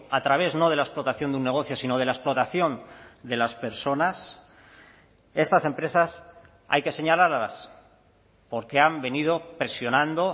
a través no de la explotación de un negocio sino de la explotación de las personas estas empresas hay que señalarlas porque han venido presionando